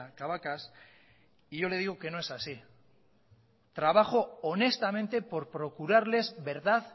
cabacas y yo le digo que no es así trabajo honestamente por procurarles verdad